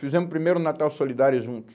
Fizemos primeiro o Natal Solidário juntos.